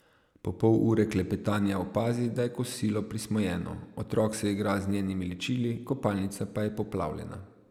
Po pol ure klepetanja opazi, da je kosilo prismojeno, otrok se igra z njenimi ličili, kopalnica pa je poplavljena.